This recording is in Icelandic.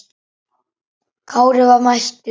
Kári var mættur!